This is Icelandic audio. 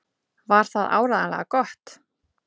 Var það áreiðanlega gott?